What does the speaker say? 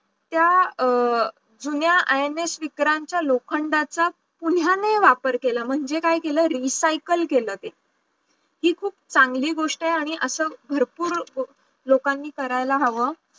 त्या अं जुन्या INS विक्रांतचा लोखंडाचा पुन्हायने वापर केला म्हणजे काय केलं, recycle केलं ते हि खूप चांगली गोष्ट आहे आणि असं भरपूर लोकांनी करायला हवं